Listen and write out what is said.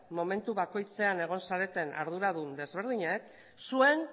momentu bakoitzean egon zareten arduradun ezberdinek zuen